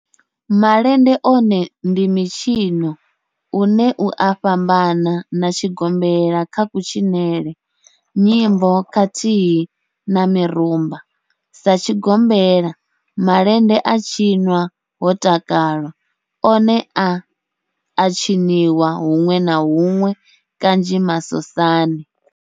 Malende one ndi mitshino une u a fhambana na tshigombela kha kutshinele, nyimbo khathihi na mirumba, Sa tshigombela, malende a tshinwa ho takalwa, one a a tshiniwa hunwe na hunwe kanzhi masosani.